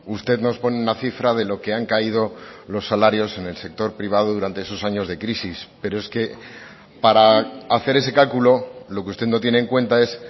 usted nos pone una cifra de lo que han caído los salarios en el sector privado durante esos años de crisis pero es que para hacer ese cálculo lo que usted no tiene en cuenta es